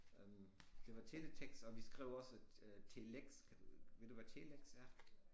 Øh det var teletekst og vi skrev også øh øh telex kan du ved du hvad telex er?